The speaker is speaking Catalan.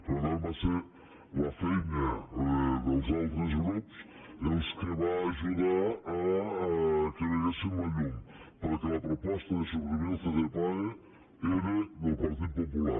per tant va ser la feina dels altres grups el que va ajudar que veiéssim la llum perquè la proposta de suprimir el ccpae era del partit popular